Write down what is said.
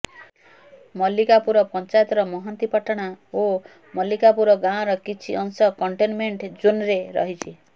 ମଲ୍ଲିକାପୁର ପଞ୍ଚାୟତର ମହାନ୍ତିପାଟଣା ଓ ମଲ୍ଲିକାପୁର ଗାଁର କିଛି ଅଂଶ କଣ୍ଟେନମେଣ୍ଟ ଜୋନ୍ରେ ରହିଛି